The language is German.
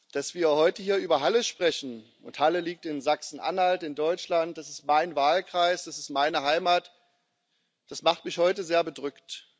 Dass wir heute hier über Halle sprechen Halle liegt in Sachsen Anhalt, in Deutschland, es ist mein Wahlkreis, es ist meine Heimat das macht mich heute sehr bedrückt.